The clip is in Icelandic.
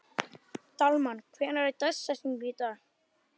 Dalmann, hver er dagsetningin í dag?